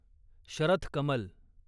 Sharath Kamal